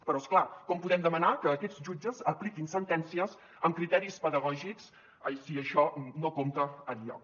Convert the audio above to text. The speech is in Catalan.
però és clar com podem demanar que aquests jutges apliquin sentències amb criteris pedagògics si això no compta enlloc